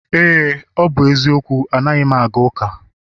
Éè, ọ bụ eziokwu anaghị m aga ụka